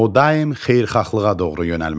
O daim xeyirxahlığa doğru yönəlməlidir.